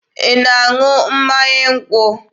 Ị na-aṅụ mmanya nkwụ?